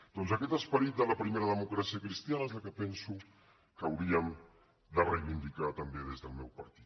doncs aquest esperit de la primera democràcia cristiana és el que penso que hauríem de reivindicar també des del meu partit